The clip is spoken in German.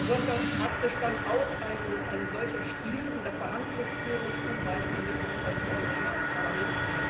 Wird das praktisch dann auch ein solcher Stil in der Verhandlungsführung zum Beispiel mit uns als Europäischem Parlament?